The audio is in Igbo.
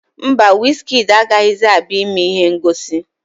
Mba, wizkịdi agaghịzi abịa ime ihe ngosi